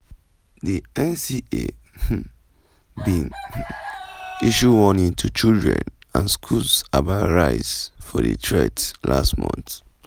di kain CA um bin um issue warning to children and schools about rise for di threats last month.